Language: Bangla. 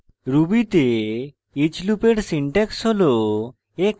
ruby the each লুপের syntax হল